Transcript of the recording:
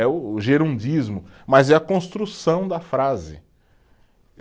É o o gerundismo, mas é a construção da frase.